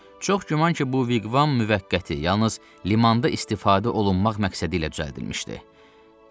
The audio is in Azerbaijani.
Çox güman ki, bu viqvam müvəqqəti, yalnız limanda istifadə olunmaq məqsədi ilə düzəldilmişdi.